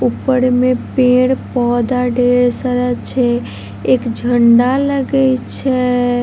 ऊपर मे पेड़-पौधा ढेर सारा छै एक झंडा लगे छय